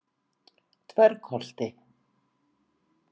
Dvergholti